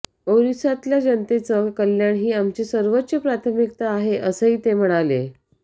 ओरिसातल्या जनतेचं कल्याण ही आमची सर्वोच्च प्राथमिकता आहे असंही ते म्हणाले